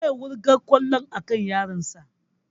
Zai wurga kwallon a kan yaron sa